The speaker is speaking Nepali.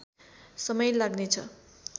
समय लाग्ने छ